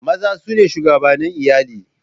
Maza su ne shugabannin iyali.